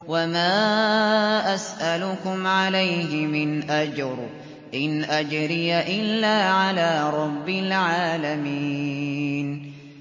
وَمَا أَسْأَلُكُمْ عَلَيْهِ مِنْ أَجْرٍ ۖ إِنْ أَجْرِيَ إِلَّا عَلَىٰ رَبِّ الْعَالَمِينَ